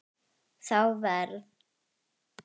Þá verð